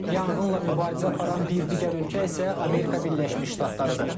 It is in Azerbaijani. Yanğınla mübarizə aparan bir digər ölkə isə Amerika Birləşmiş Ştatlarıdır.